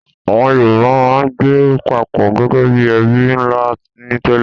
Àwọn Yorùbá máa ń gbé papọ̀ gẹ́gẹ́ bí ẹbí ńlá ni tẹ́lẹ̀